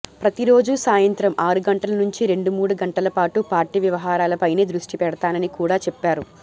ప్రతి రోజూ సాయంత్రం ఆరు గంటల నుంచి రెండు మూడు గంటలపాటు పార్టీ వ్యవహారాలపైనే దృష్టి పెడతానని కూడా చెప్పారు